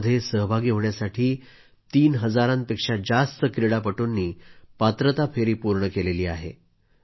यामध्ये सहभागी होण्यासाठी तीन हजारांपेक्षा जास्त क्रीडापटूंनी पात्रता फेरी पूर्ण केली आहे